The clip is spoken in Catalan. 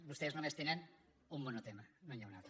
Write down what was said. vostès només tenen un monotema no n’hi ha un altre